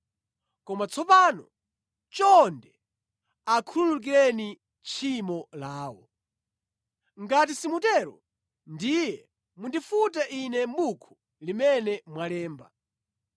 Koma tsopano, chonde akhululukireni tchimo lawo. Ngati simutero, ndiye mundifute ine mʼbuku limene mwalemba.”